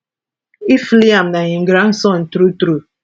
if liam na im grandson true true